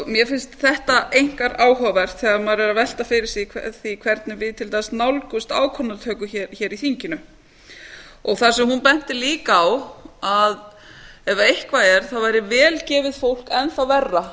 mér finnst þetta einkar áhugavert þegar maður er að velta fyrir sér því hvernig við til dæmis nálgumst ákvarðanatöku hér í þinginu það sem hún benti líka á var að ef eitthvað er væri vel gefið fólk enn þá verra